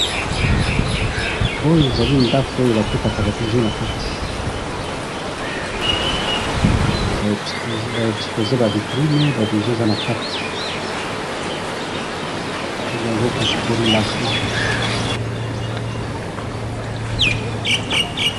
oyo ezali ndakou batekaka ba bijou nakati h ba exposer ba vitrine ba bijoux eza nakati ba bengaka yango " bijouterie la vie en or''.